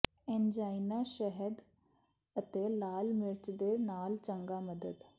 angina ਸ਼ਹਿਦ ਅਤੇ ਲਾਲ ਮਿਰਚ ਦੇ ਨਾਲ ਚੰਗਾ ਮਦਦ